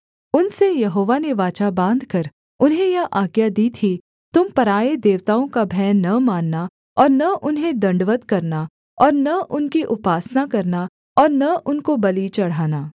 उनसे यहोवा ने वाचा बाँधकर उन्हें यह आज्ञा दी थी तुम पराए देवताओं का भय न मानना और न उन्हें दण्डवत् करना और न उनकी उपासना करना और न उनको बलि चढ़ाना